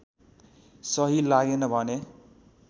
सही लागेन भने